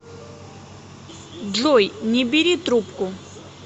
джой не бери трубку